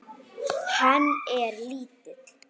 Hann er lítill.